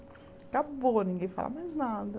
Acabou, ninguém fala mais nada.